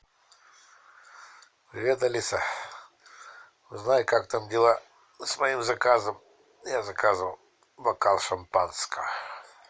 привет алиса узнай как там дела с моим заказом я заказывал бокал шампанского